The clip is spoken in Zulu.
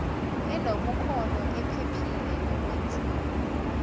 enobukhono ephephile nokwenziwa